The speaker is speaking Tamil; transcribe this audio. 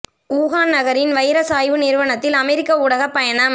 வூ ஹான் நகரின் வைரஸ் ஆய்வு நிறுவனத்தில் அமெரிக்க ஊடகப் பயணம்